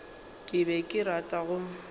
ke be ke rata go